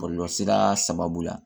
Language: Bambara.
Bɔlɔlɔsira sababu la